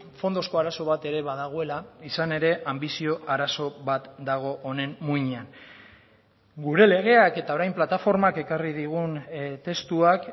fondozko arazo bat ere badagoela izan ere anbizio arazo bat dago honen muinean gure legeak eta orain plataformak ekarri digun testuak